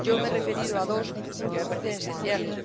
Yo me he referido a dos porque me parecen esenciales.